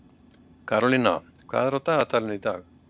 Karólína, hvað er á dagatalinu í dag?